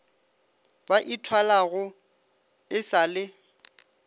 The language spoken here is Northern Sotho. ba ithwalago e sa le